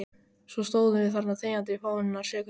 Svo stóðum við þarna þegjandi í fáeinar sekúndur.